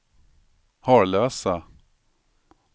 Harlösa